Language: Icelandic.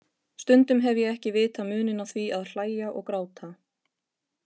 Stundum hef ég ekki vitað muninn á því að hlæja og gráta.